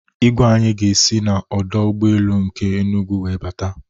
Igwe anyị ga-esi n'ọdọ ụgbọelu nke Enugwu wee bata